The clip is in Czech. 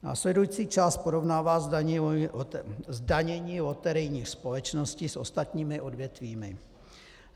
Následující část porovnává zdanění loterijních společností s ostatními odvětvími.